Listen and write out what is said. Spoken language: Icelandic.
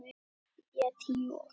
Ég tíu og